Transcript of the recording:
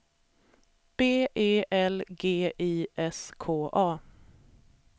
B E L G I S K A